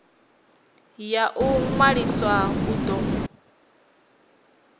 ya u ṅwalisa u do